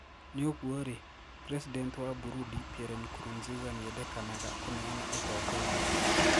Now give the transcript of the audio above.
niugwo rii, president wa Burundi Pierre Nkurunziza niendekanaga kũneana ũtongoria.